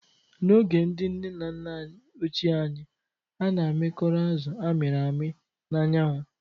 N'oge ndị nne na nna ochie anyị, a na-amịkọrọ azụ a mịrị amị na anyanwụ